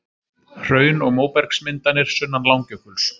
Hraun og móbergsmyndanir sunnan Langjökuls.